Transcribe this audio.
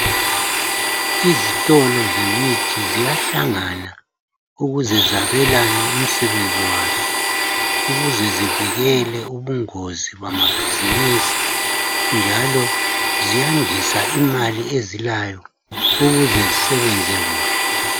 Izitolo zemithi ziyahlangana ukuze zabelane umsebenzi wazo. Ukuze zivikele ubungozi bamabhizimusi njalo ziyandisa imali ezilayo ukuze zisebenze kuhle.